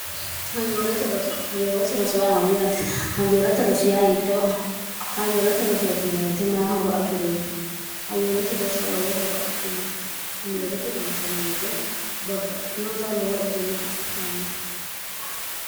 hayyoolata rosowe amayyaate hayyoolata rosiya hiittoo hayoolate rosootinwete maya horo afi'rino hayyoolate rosa lowo horo ainote hayyoolote ronsanni wiyite babbaitinota lowo egenno afi'nanni